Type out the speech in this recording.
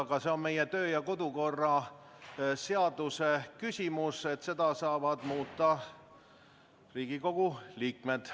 Aga see on meie kodu- ja töökorra seaduse küsimus, seda saavad muuta Riigikogu liikmed.